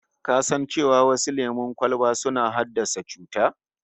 Ka san cewa wasu lemon kwalban suna iya haddasa cuta?